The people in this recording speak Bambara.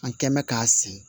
An kɛ mɛ k'a siri